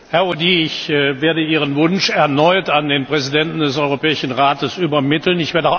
Herr Audy, ich werde Ihren Wunsch erneut an den Präsidenten des Europäischen Rates übermitteln.